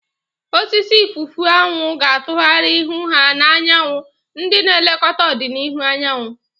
Osisi ifufu anwu ga-atụgharị ihu ha na anyanwụ, ndị na-elekọta ọdịnihu anyanwụ.